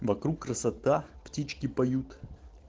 вокруг красота птички поют